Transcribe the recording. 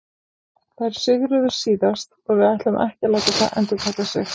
Þær sigruðu síðast og við ætlum ekki að láta það endurtaka sig.